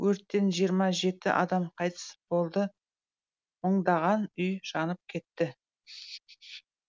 өрттен жиырма жеті адам қайтыс болды мыңдаған үй жанып кетті